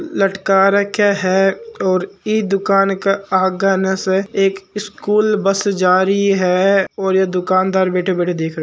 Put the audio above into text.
लटका रखा है और ई दुकान के आगन से एक सकूल बस जा रही है और यो दुकानदार बैठो बैठो देखरो है।